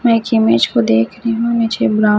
मैं एक इमेज को देख रही हूं मुझे